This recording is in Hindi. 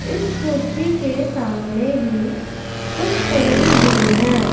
इस कुर्सी के सामने ही कुछ फूल भी हैं।